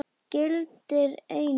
Gildir einu!